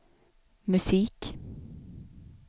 musik